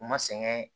U ma sɛgɛn